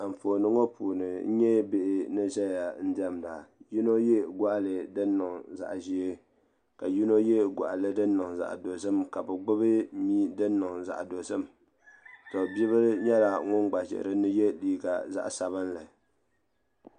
Anfooni ŋɔ puuni n nyɛ bihi ni zaya n dɛmda yino yɛ gɔɣili din niŋ zaɣa ʒee ka yino yɛ gɔɣili din niŋ zaɣa dozim ka o gbubi miya din niŋ zaɣa dozim to bia bila nyɛla ŋun gba ʒɛ din ni yɛ liiga zaɣa sabinli.